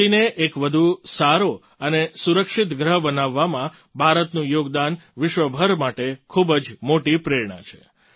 આ ધરતીને એક વધુ સારો અને સુરક્ષિત ગ્રહ બનાવવામાં ભારતનું યોગદાન વિશ્વ ભર માટે ખૂબ જ મોટી પ્રેરણા છે